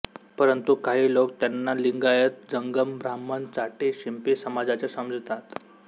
परंतु काही लोक त्यांना लिंगायत जंगम ब्राह्मण चाटी शिंपी समाजाचे समजतात